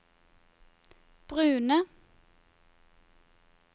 brune